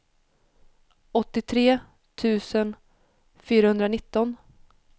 åttiotre tusen fyrahundranitton